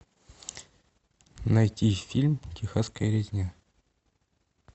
найти фильм техасская резня